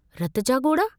रत जा गोढ़हा?